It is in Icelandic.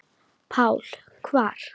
PÁLL: Hvar?